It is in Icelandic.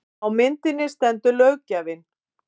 Á myndinni stendur löggjafinn